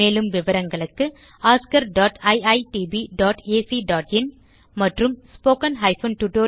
மேலும் விவரங்களுக்கு oscariitbacஇன் மற்றும் spoken tutorialorgnmeict இன்ட்ரோ